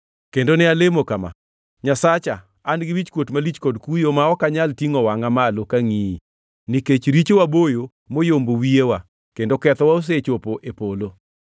Kendo ne alemo kama: “Nyasacha, an-gi wichkuot malich kod kuyo ma ok anyal tingʼo wangʼa malo kangʼiyi, nikech richowa boyo moyombo wiyewa kendo kethowa osechopo e polo.